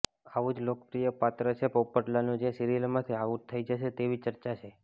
આવું જ લોકપ્રિય પાત્ર છે પોપટલાલનું જે સીરિયલમાંથી આઉટ થઈ જશે તેવી ચર્ચા છે